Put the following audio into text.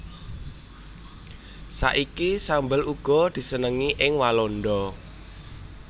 Saiki sambel uga disenengi ing Walanda